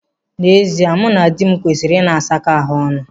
N'ezie, mụ na dị m kwesịrị ịna asakọ ahụ ọnụ.